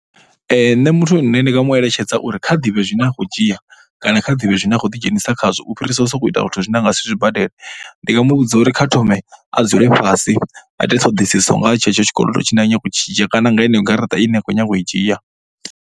Nṋe muthu ndi nga mu eletshedza uri kha ḓivhe zwine a khou dzhia kana kha ḓivhe zwine a khou ḓidzhenisa khazwo u fhirisa u sokou ita zwithu zwine a nga si zwi zwi badele. Ndi nga mu vhudza uri kha thome a dzule fhasi a ite ṱhoḓisiso nga ha tshenetsho tshikodo tshine a khou nyaga u tshi dzhia kana nga heneyo garaṱa ine a khou nyaga u i dzhia.